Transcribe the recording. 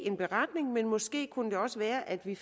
en beretning men måske kunne det også være at vi